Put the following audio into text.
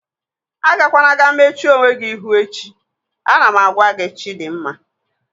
Agakwana ga-mechuo onwe gị ihu echi! Ana m agwa gị Chidimma